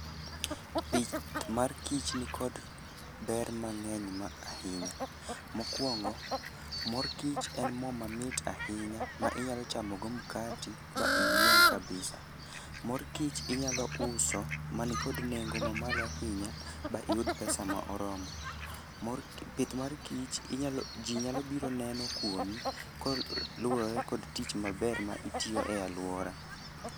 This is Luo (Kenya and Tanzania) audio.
Pith mar kich nikod ber mang'eny ma ahinya. Mokwongo, mor kich en mo mamit ahinya ma inyalo chamogo mkati ba iyieng' kabisa. Mor kich inyalo uso man kod nengo ma malo ahina, ba iyud pesa ma oromo. Mor ki pith mar kich ji nyalo biro neno kuomi ko luwore kod tich maber ma itiyo e alwora.